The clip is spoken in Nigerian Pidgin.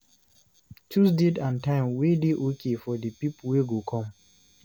choose date and time wey dey okay for di pipo wey go come